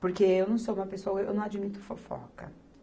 Porque eu não sou uma pessoa, eu não admito fofoca.